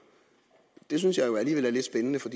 det synes jeg jo alligevel er lidt spændende for